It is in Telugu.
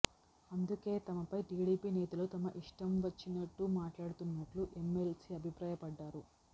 అందుకే తమపై టిడిపి నేతలు తమ ఇష్టం వచ్చినట్లు మాట్లాడుతున్నట్లు ఎంఎల్సీ అభిప్రాయపడ్డారు